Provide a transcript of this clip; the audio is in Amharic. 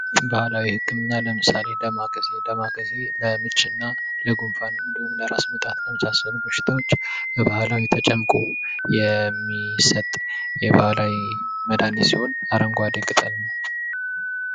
ባህላዊ ህክምና ለምሳሌ ዳማ ካሴ ። ዳማ ካሴ ለምች እና ለጉንፋን እንዲሁም ለራስ ምታት ለመሳሰሉ በሽታዎች በባህላዊ ተጨምቆ የሚሰጥ የባህላዊ መድሀኒት ሲሆን አረንጓዴ ቅጠል ነው ።